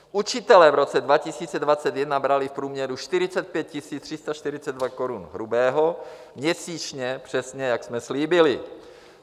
Učitelé v roce 2021 brali v průměru 45 342 korun hrubého měsíčně - přesně, jak jsme slíbili.